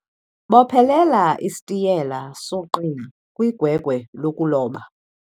bophelela isitiyela soqina kwigwegwe lokuloba